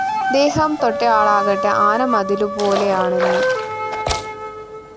ദേഹം തൊട്ടയാളാകട്ടെ ആന മതിലു പോലെയാണെന്ന്‌